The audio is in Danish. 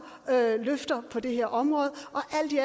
løfter på det her område og alt i